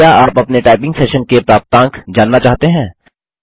क्या आप अपने टाइपिंग सेशन के प्राप्तांक जानना चाहते हैं